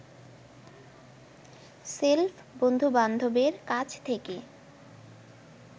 shelf বন্ধুবান্ধবের কাছ থেকে